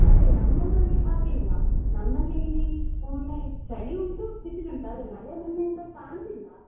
ಅದೇ ನಮ್ಮ ಊರಲ್ಲಿ ಹಾಗೆ ಇಲ್ಲ ನಮ್ಮಲ್ಲಿ ಇಲ್ಲಿ ಒಮ್ಮೆ ಚಳಿ ಉಂಟು , ಬಿಸಿಲು ಉಂಟು ಆದ್ರೆ ಮಳೆ ಮೊನ್ನೆಯಿಂದ ಕಾಣುದಿಲ್ಲ.